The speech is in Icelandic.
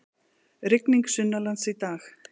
Rigning sunnanlands í dag